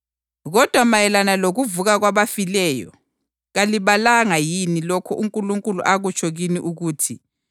Kodwa mayelana lokuvuka kwabafileyo, kalibalanga yini lokho uNkulunkulu akutsho kini ukuthi,